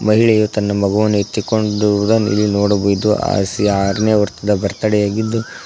ಮಹಿಳೆಯು ತನ್ನ ಮಗುವನ್ನು ಎತ್ತಿಕೊಂಡುರುದನ್ನ ಇಲ್ಲಿ ನೋಡಬಹುದು ಆಸ್ ಆರನೇ ವರ್ತ್ದ ಬರ್ತಡೇ ಆಗಿದ್ದು--